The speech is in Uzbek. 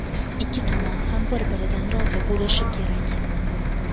Ikki tomon ham bir-biridan rozi bo‘lishi kerak.